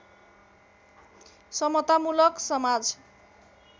समतामुलक समाज